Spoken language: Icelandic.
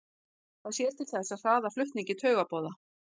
Það sér til þess að hraða flutningi taugaboða.